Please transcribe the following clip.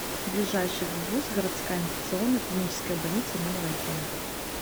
ближайший гбуз городская инфекционная клиническая больница номер один